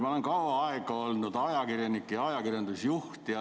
Ma olen kaua aega olnud ajakirjanik ja ajakirjandusjuht.